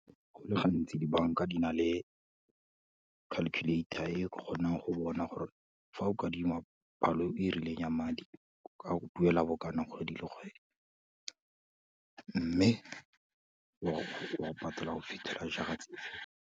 Go le gantsi di-bank-a di na le calculator e o ka kgonang go bona gore fa o ka adima palo e rileng ya madi, o ka go duela bokana kgwedi le kgwedi, mme wa go patela go fitlhela jaar-a tse kae.